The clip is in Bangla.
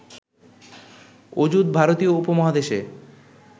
অযুত ভারতীয় উপমহাদেশে